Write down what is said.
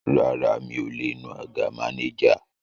Rárá, mi ò lè nu àga mánéjà